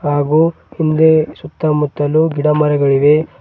ಹಾಗು ಹಿಂದೆ ಸುತ್ತ ಮುತ್ತಲು ಗಿಡ ಮರಗಳಿವೆ.